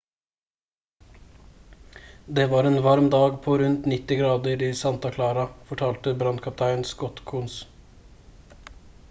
«det var en varm dag på rundt 90 grader i santa clara» fortalte brannkaptein scott kouns